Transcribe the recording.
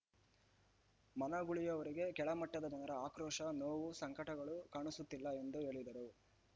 ಮನಗುಳಿಯವರಿಗೆ ಕೆಳ ಮಟ್ಟದ ಜನರ ಆಕ್ರೋಶ ನೋವು ಸಂಕಟಗಳು ಕಾಣಿಸುತ್ತಿಲ್ಲ ಎಂದು ಹೇಳಿದರು